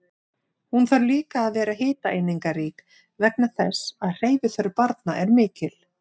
Hún þarf líka að vera hitaeiningarík vegna þess að hreyfiþörf barna er mikil.